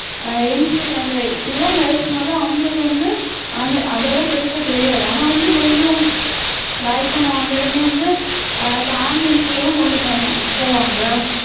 அஹ் youngsters அந்த இளம் வயசுனால அவங்களுக்கு வந்து அதெ~ அதெல்லாம் பெருசா தெரியாது ஆனா வந்து கொஞ்சம் வயசானவங்க வந்து அஹ் இப்ப ambulance ல எல்லாம் கொண்டு போவாங்~ போவாங்க